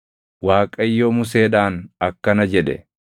Waaqayyo Museedhaan akkana jedhe;